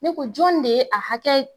Ne ko jɔn de ye a hakɛ ?